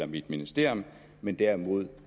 mit ministerium men derimod